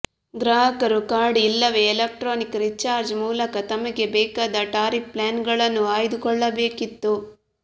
ಗ್ರಾಹಕರು ಕಾರ್ಡ್ ಇಲ್ಲವೇ electronic recharge ಮೂಲಕ ತಮಗೆ ಬೇಕಾದ ಟಾರಿಫ್ ಪ್ಲಾನ್ಗಳನ್ನು ಆಯ್ದುಕೊಳ್ಳಬೇಕಿತ್ತು